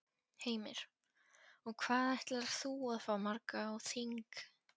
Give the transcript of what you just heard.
Heimir: Og hvað ætlar þú að fá marga á þing?